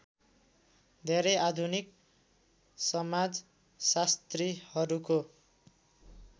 धेरै आधुनिक समाजशास्त्रीहरूको